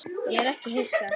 Ég er ekki hissa.